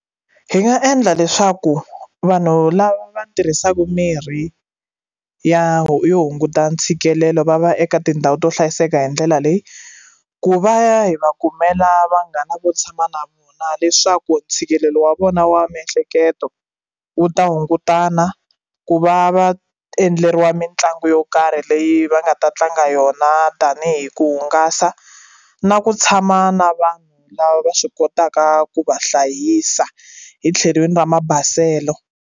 Hi nga endla leswaku vanhu lava tirhisaka mirhi ya yo hunguta ntshikelelo va va eka tindhawu to hlayiseka hi ndlela leyi ku va ya hi va kumela vanghana vo tshama na vona leswaku ntshikelelo wa vona wa miehleketo u ta hungutana ku va va endleriwa mitlangu yo karhi leyi va nga ta tlanga yona tanihi ku hungasa na ku tshama na vanhu lava va swi kotaka ku va hlayisa hi tlhelweni ra mabaselo.